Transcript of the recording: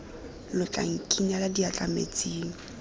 lo tla nkinela diatla metsing